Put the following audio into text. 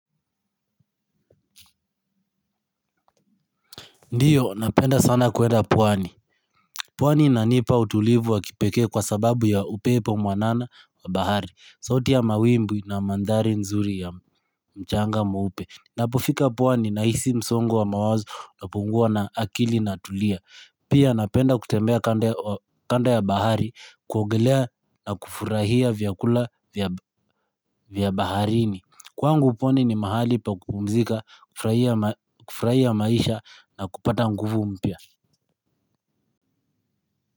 Ndiyo, napenda sana kuwenda pwani. Pwani inanipa utulivu wa kipekee kwa sababu ya upepo mwanana wa bahari. Sauti ya mawimbi na mandhari nzuri ya mchanga mweupe. Napofika pwani nahisi msongo wa mawazo napungua na akili inatulia. Pia napenda kutembea kando ya bahari, kuogelea na kufurahia vyakula vya baharini. Kwangu pwani ni mahali pa kupumzika, kufurahia maisha na kupata nguvu mpya. Kwa hivyo.